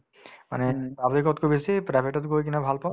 মানে public তকৈ বেছি private তত গৈ কিনে ভাল পাওঁ